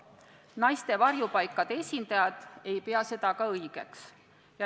Naiste varjupaikade esindajad ei pea seda õigeks.